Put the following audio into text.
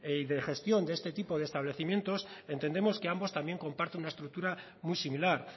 y de gestión de este tipo de establecimientos entendemos que ambos también comparten una estructura muy similar